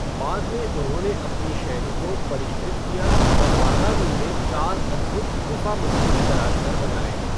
बाद में उन्होंने अपनी शैली को परिष्कृत किया और बादामी में चार अद्भुत गुफा मंदिर तराश कर बनाए।